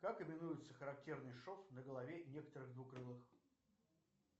как именуется характерный шов на голове некоторых двукрылых